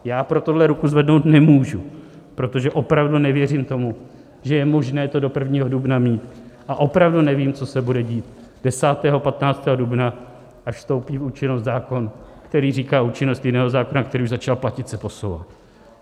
Já pro tohle ruku zvednout nemůžu, protože opravdu nevěřím tomu, že je možné to do 1. dubna mít, a opravdu nevím, co se bude dít 10., 15. dubna, až vstoupí v účinnost zákon, který říká: účinnost jiného zákona, který už začal platit, se posouvá.